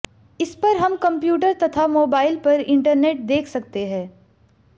इसपर हम कंप्यूटर तथा मोबाइल पर इंटरनेट देख सकते हैं